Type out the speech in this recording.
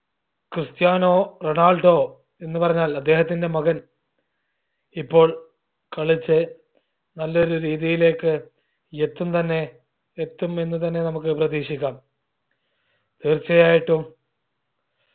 Cristiano Ronaldo എന്ന് പറഞ്ഞാൽ അദ്ധേഹത്തിന്റെ മകൻ ഇപ്പോൾ കളിച്ച് നല്ലൊരു രീതിയിലേക്ക് എത്തും തന്നെ എത്തുമെന്ന് തന്നെ നമ്മുക്ക് പ്രതീക്ഷിക്കാം തീർച്ചയായിട്ടും